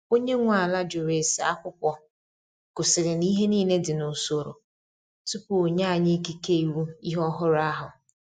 Onye nwe ala jụrụ ese akwụkwọ gosiri na ihe niile dị n’usoro tupu onye anyi ikike ịwụ ihe ọhụrụ ahụ.